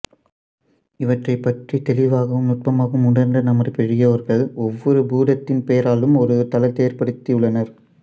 இவற்றைப் பற்றித் தெளிவாகவும் நுட்பமாகவும் உணர்ந்த நமது பெரியோர்கள் ஒவ்வொரு பூதத்தின் பெயராலும் ஒரு தலத்தை ஏற்படுத்தி உள்ளனர்